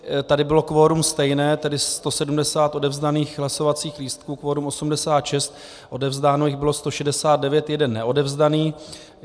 Tady bylo kvorum stejné, tedy 170 odevzdaných hlasovacích lístků, kvorum 86, odevzdáno jich bylo 169, jeden neodevzdaný.